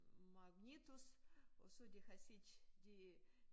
Magnet også og så de har set de